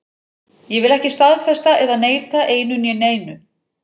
Ég vil ekki staðfesta eða neita einu né neinu.